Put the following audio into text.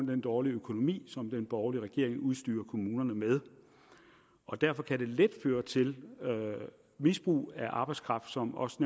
den dårlige økonomi som den borgerlige regering vil udstyre kommunerne med og derfor kan det let føre til misbrug af arbejdskraft som også